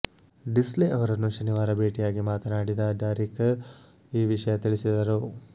ಡಿಸ್ಲೆ ಅವರನ್ನು ಶನಿವಾರ ಭೇಟಿಯಾಗಿ ಮಾತನಾಡಿದ ದಾರೇಕರ್ ಈ ವಿಷಯ ತಿಳಿಸಿದರು